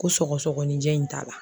Ko sɔgɔsɔgɔninjɛ in t'a la